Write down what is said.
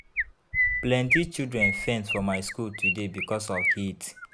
Plenty children faint for my skool today because of heat.